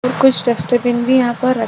और कुछ डस्टबिन भी यहाँ पर रख --